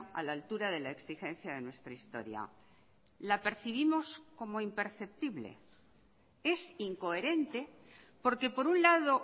a la altura de la exigencia de nuestra historia la percibimos como imperceptible es incoherente porque por un lado